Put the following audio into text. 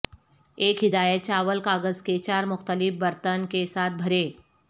ایک ہدایت چاول کاغذ کے چار مختلف برتن کے ساتھ بھرے